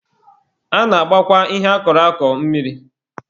A na-agbakwa ihe a kọrọ akọ mmiri.